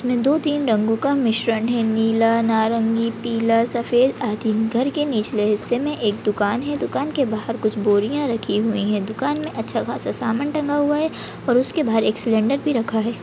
दो-तीन रंगो का मिश्रण है नीला नारंगी पीला सफ़ेद आदि घर के नीचे हिसले मे एक दूकान है दूकान के बाहर कुछ बोरिया रखी हुई है दूकान मे अच्छा खासा सामान टंगा हुआ है और उसके पर एक सिलेंडर भी रखा है।